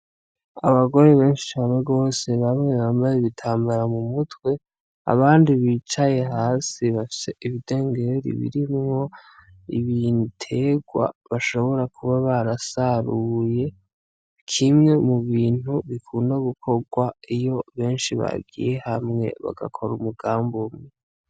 Abagore benshi cane gose bamwe bambaye ibitambara mu mutwe, abandi bicaye hasi bafise ibidengeri birimwo ibitegwa bashobora kuba barasaruye, kimwe mu bintu bikunda gukorwa iyo benshi bagiye hamwe bagakora umugambi umwe.